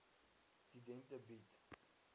studente bied